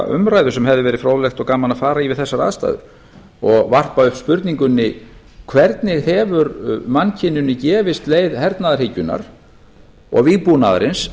umræðu sem hefði verið fróðlegt og gaman að fara í við þessar aðstæður og varpa upp spurningunni hvernig hefur mannkyninu gefist leið hernaðarhyggjunnar og vígbúnaðarins